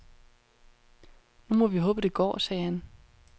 Nu må vi håbe, det går, sagde han.